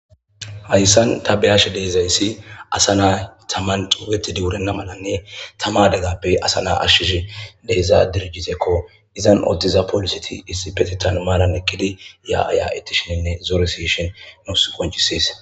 hayssan tabeyashe deezayssi asa naa tamman duugetidi wurenna malanne tamadeggappe asa na ashshishi deeza dirjitekko izan odtiza polisiti issi betetan maaran ekkidi ya aya ettishininne zooresishin nus qoncisees